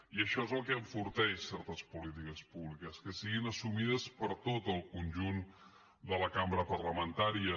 i això és el que enforteix certes polítiques públiques que siguin assumides per tot el conjunt de la cambra parlamentària